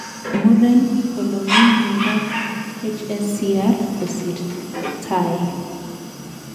Muren konomin miondap HSCR kosir tie.